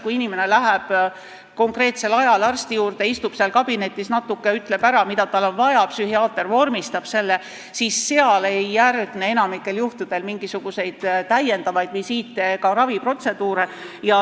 Kui inimene läheb konkreetsel ajal arsti juurde, istub seal kabinetis natuke ja ütleb ära, mida tal on vaja, psühhiaater vormistab selle ära, siis ei järgne enamikul juhtudel mingisuguseid lisavisiite ega raviprotseduure.